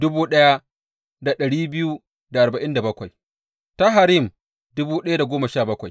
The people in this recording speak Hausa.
Zuriyar Yedahiya ta wurin iyalin Yeshuwa ta Immer ta Fashhur ta Harim